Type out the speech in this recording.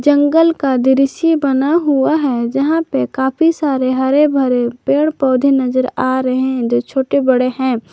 जंगल का दृश्य बना हुआ है जहा पे काफी सारे हरे भरे पेड़ पौधे नजर आ रहे है जो छोटे बड़े है।